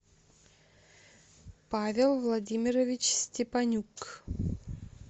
павел владимирович степанюк